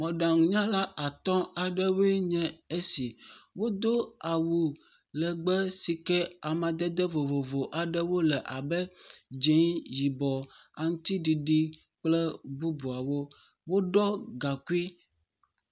Mɔɖaŋunyala atɔ̃ aɖewoe nye esi. Wodo awu legbe si ke amadede vovovo aɖewo le abe dzɛ̃, yibɔ, aŋutiɖiɖi kple bubuawo. Woɖɔ gaŋkui.